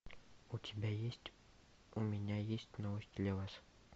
у тебя есть у меня есть новость для вас